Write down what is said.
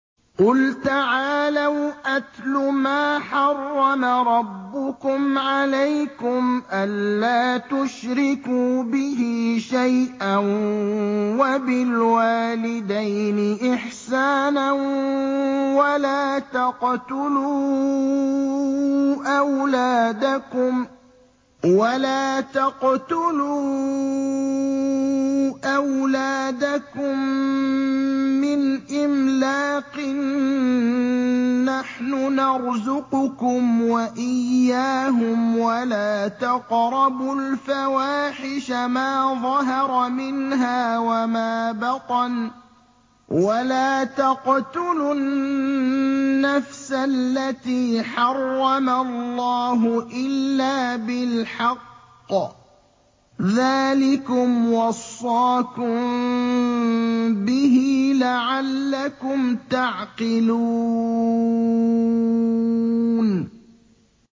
۞ قُلْ تَعَالَوْا أَتْلُ مَا حَرَّمَ رَبُّكُمْ عَلَيْكُمْ ۖ أَلَّا تُشْرِكُوا بِهِ شَيْئًا ۖ وَبِالْوَالِدَيْنِ إِحْسَانًا ۖ وَلَا تَقْتُلُوا أَوْلَادَكُم مِّنْ إِمْلَاقٍ ۖ نَّحْنُ نَرْزُقُكُمْ وَإِيَّاهُمْ ۖ وَلَا تَقْرَبُوا الْفَوَاحِشَ مَا ظَهَرَ مِنْهَا وَمَا بَطَنَ ۖ وَلَا تَقْتُلُوا النَّفْسَ الَّتِي حَرَّمَ اللَّهُ إِلَّا بِالْحَقِّ ۚ ذَٰلِكُمْ وَصَّاكُم بِهِ لَعَلَّكُمْ تَعْقِلُونَ